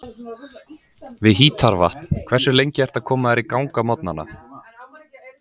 við hítarvatn Hversu lengi ertu að koma þér í gang á morgnanna?